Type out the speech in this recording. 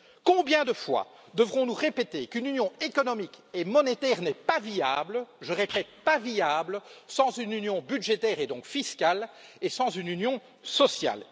Combien de fois, devrons nous répéter qu'une union économique et monétaire n'est pas viable je répète, pas viable sans une union budgétaire et donc fiscale et sans une union sociale.